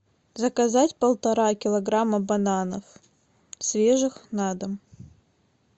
заказать полтора килограмма бананов свежих на дом